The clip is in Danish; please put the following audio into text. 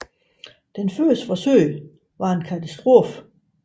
Det første forsøg var en katastrofe